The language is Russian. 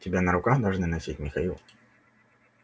тебя на руках должны носить михаил